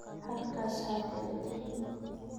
Halkaas ha kaga tagin